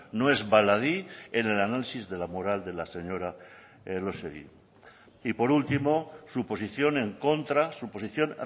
no es baladí en el análisis de la moral de la señora elósegui y por último su posición en contra su posición